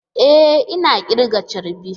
E! Ina kirga charbi.